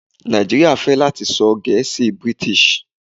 Naijiria fẹ lati sọ gẹ̀ẹ́sì British.